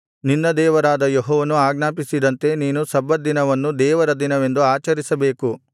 ನಿನ್ನ ದೇವರಾದ ಯೆಹೋವನು ಆಜ್ಞಾಪಿಸಿದಂತೆ ನೀನು ಸಬ್ಬತ್‍ ದಿನವನ್ನು ದೇವರ ದಿನವೆಂದು ಆಚರಿಸಬೇಕು